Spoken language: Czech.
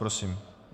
Prosím.